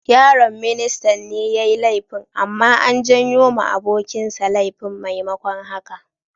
Yaron ministan ne yayi laifin, amma an juyo ma abokin sa laifin maimakon haka.